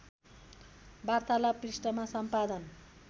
वार्तालाप पृष्ठमा सम्पादन